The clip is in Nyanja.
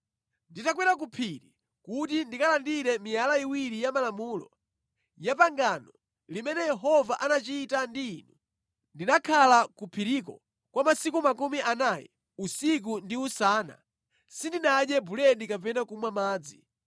Nditakwera ku phiri kuti ndikalandire miyala iwiri ya malamulo, ya pangano limene Yehova anachita ndi inu, ndinakhala ku phiriko kwa masiku makumi anayi usiku ndi usana, sindinadye buledi kapena kumwa madzi.